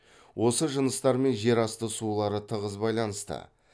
осы жыныстармен жер асты сулары тығыз байланысты